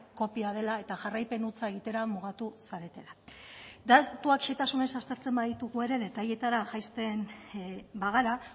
kopia dela eta jarraipen hutsa egitera mugatu zaretela datuak zehetasunez aztertzen baditugu ere detailetara jaisten bagara